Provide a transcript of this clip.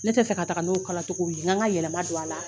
Ne tɛ fɛ ka taga n'o kala cogo ye , n gan ka yɛlɛma don a la.